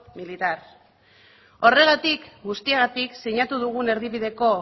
militar horregatik guztiagatik sinatu dugun erdibideko